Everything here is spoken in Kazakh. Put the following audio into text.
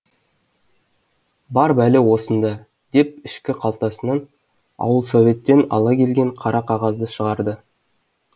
бар бәле осында деп ішкі қалтасынан ауылсоветтен ала келген қара қағазды шығарды